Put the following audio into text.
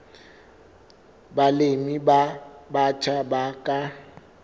balemi ba batjha ba ka